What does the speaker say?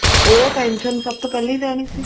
ਉਹ tension ਸਭ ਤੋਂ ਪਹਿਲੀ ਰਹਿਣੀ ਸੀ